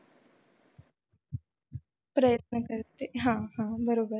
प्रयत्न करते हा हा बरोबर.